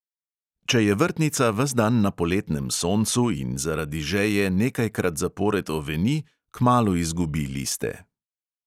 Če je vrtnica ves dan na poletnem soncu in zaradi žeje nekajkrat zapored oveni, kmalu izgubi liste.